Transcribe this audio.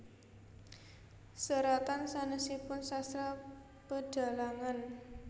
Seratan sanèsipun Sastra Pedhalangan